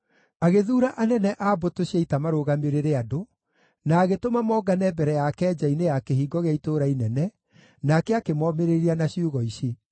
Agĩthuura anene a mbũtũ cia ita marũgamĩrĩre andũ, na agĩtũma mongane mbere yake nja-inĩ ya kĩhingo gĩa itũũra inene, nake akĩmomĩrĩria na ciugo ici: